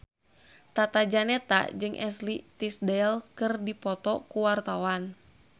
Tata Janeta jeung Ashley Tisdale keur dipoto ku wartawan